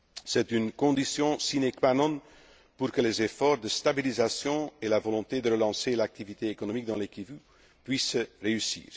C'est une condition sine qua non pour que les efforts de stabilisation et la volonté de relancer l'activité économique dans les Kivus puissent réussir.